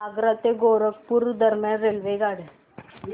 आग्रा ते गोरखपुर दरम्यान रेल्वेगाड्या